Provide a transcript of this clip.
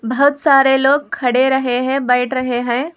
बहुत सारे लोग खड़े रहे हैं बैठ रहे हैं।